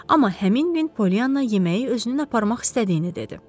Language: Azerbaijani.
Amma həmin gün Polianna yeməyi özünün aparmaq istədiyini dedi.